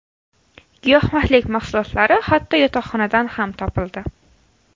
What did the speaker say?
Giyohvandlik mahsulotlari hatto yotoqxonadan ham topildi.